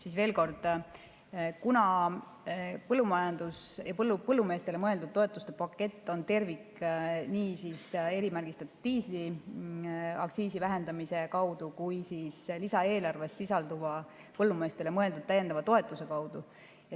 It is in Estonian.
Siis veel kord: kuna põllumajandus ja põllumeestele mõeldud toetuste pakett on tervik nii erimärgistatud diisli aktsiisi vähendamise kaudu kui ka lisaeelarves sisalduva põllumeestele mõeldud täiendava toetuse kaudu.